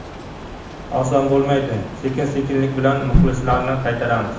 Oson bo‘lmaydi, sekin-sekinlik bilan muxlislarni qaytaramiz.